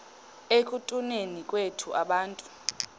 ekutuneni kwethu abantu